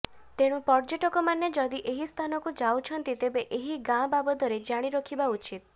ତେଣୁ ପର୍ଯ୍ୟଟକ ମାନେ ଯଦି ଏହି ସ୍ଥାନକୁ ଯାଉଛନ୍ତି ତେବେ ଏହି ଗାଁ ବାବଦରେ ଜାଣି ରଖିବା ଉଚିତ